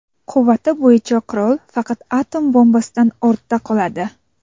Quvvati bo‘yicha qurol faqat atom bombasidan ortda qoladi.